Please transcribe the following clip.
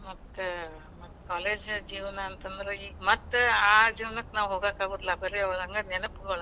ಮತ್ college ಜೀವನಾ ಅಂತಂದ್ರ, ಈಗ ಮತ್ತ ಆ ಜೀವ್ನಕ್ ನಾವ್ ಹೋಗೋಕ್ ಬರೋಲ್ಲಾ ಬರೆ ಹಂಗ ನೆನಪಗೋಳ,